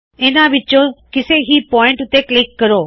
ਇਹਨਾ ਵਿੱਚੋਂ ਕਿਸੇ ਵੀ ਪੌਇਂਟ ਉੱਤੇ ਕਲਿੱਕ ਕਰੋ